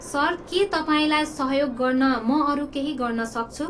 Sir, के तपाईँलाई सहयोग गर्न म अरू केही गर्न सक्छु?